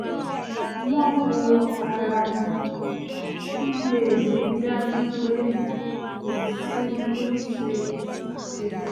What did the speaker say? wọ́n ń wo ara wọn kí wọ́n lè rí i dájú pé kò sẹ́ni tó ń ṣe àṣejù